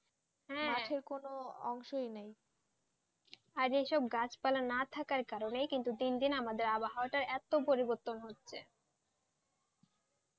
কোনো অংশ নেই অরে এই সব গাছ পালা না থাকাই কারণে কিন্তু দিন দিন আমাদের আবহাওয়া এটো পরিবতন হচ্ছে